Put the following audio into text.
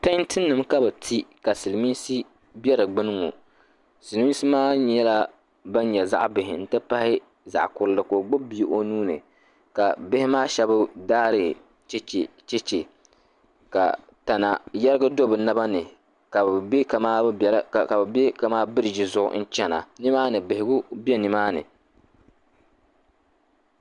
Tantinima ka bɛ ti ka silimiinsi be di gbini ŋɔ. Silimiinsi maa nyɛla ban nyɛ zaɣ' bihi nti pahi zaɣ' kurili ka o gbibi bia o nuu ni ka bihi maa shɛba daari cheche ka tana yɛrigi do bɛ naba ni ka bɛ be kamani biriiji zuɣu n-chana. Bihigu be nimaani.